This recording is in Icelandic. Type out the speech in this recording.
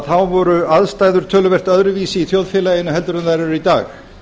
þá voru aðstæður töluvert öðruvísi í þjóðfélaginu heldur en þær eru í dag